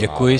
Děkuji.